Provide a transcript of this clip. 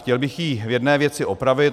Chtěl bych jí v jedné věci opravit.